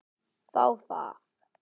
Þá það!